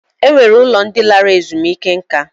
E nwere ụlọ ndị lara ezumike nká.